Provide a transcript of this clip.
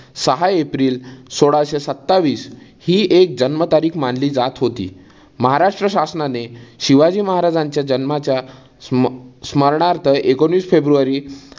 सहा एप्रिल सोळाशे सत्तावीस हि एक जन्म तारीख मानली जात होती. महाराष्ट्र शासनाने शिवाजी महाराजांच्या जन्माच्या स्म स्मरणार्थ एकोणवीस फेब्रुवारी